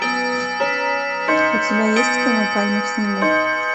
у тебя есть кино пальмы в снегу